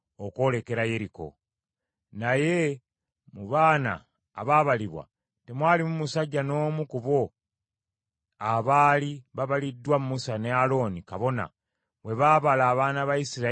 Naye mu bano abaabalibwa temwalimu musajja n’omu ku abo abaali babaliddwa Musa ne Alooni kabona bwe baabala abaana ba Isirayiri mu Ddungu lya Sinaayi.